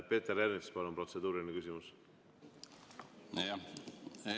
Peeter Ernits, palun, protseduuriline küsimus!